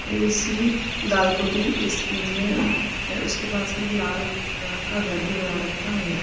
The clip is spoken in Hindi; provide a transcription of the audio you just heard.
और ए_सी दालकोटी स्कीम में हे उसके पास में एक लाल रंग का घर भी बना रखा है।